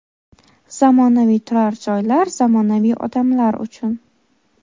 Zamonaviy turar joylar zamonaviy odamlar uchun.